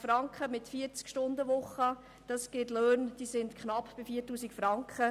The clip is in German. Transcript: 20 Franken pro Stunde mit 40-Stunden-Woche, das ergibt Löhne von knapp 4000 Franken.